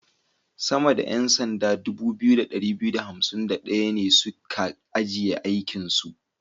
Sama da 'yan sanda 2251 ne su ka ajiye aikinsu.